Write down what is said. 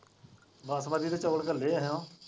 ਬਾਸਮਤੀ ਦੇ ਚੋਲ ਕਲੇ ਹੈ ਹਨਾਂ।